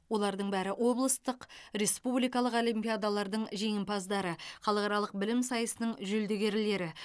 олардың бәрі облыстық республикалық олимпиадалардың жеңімпаздары халықаралық білім сайысының жүлдегерлері